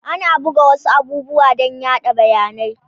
Ana buga wasu abubuwan dan yaɗa bayanai